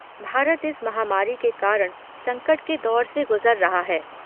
भारत इस महामारी के कारण संकट के दौर से गुजर रहा है।